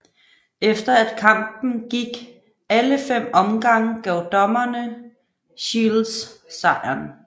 Efter at kampen gik alle 5 omgange gav dommerne Shields sejren